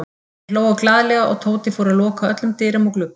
Þeir hlógu glaðlega og Tóti fór að loka öllum dyrum og gluggum.